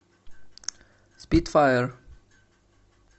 спитфайр